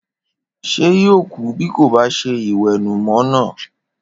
Ṣé yóò kú bí kò bá ṣe ìwẹ̀nùmọ́ náà?